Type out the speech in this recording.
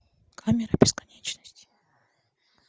камера бесконечности